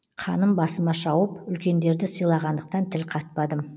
қаным басыма шауып үлкендерді сыйлағандықтан тіл қатпадым